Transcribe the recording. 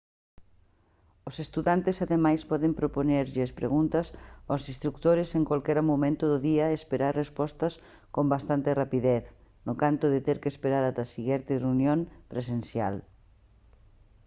os estudantes ademais poden propoñerlles preguntas aos instrutores en calquera momento do día e esperar respostas con bastante rapidez no canto de ter que esperar ata a seguinte reunión presencial